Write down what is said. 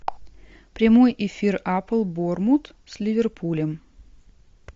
прямой эфир апл борнмут с ливерпулем